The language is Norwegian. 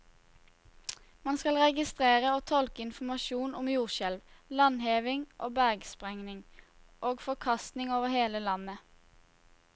Man skal registrere og tolke informasjon om jordskjelv, landhevning, bergsprengning og forkastning over hele landet.